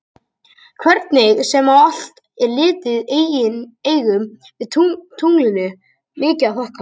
Hvernig sem á allt er litið eigum við tunglinu mikið að þakka.